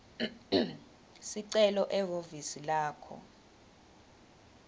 sicelo ehhovisi lakho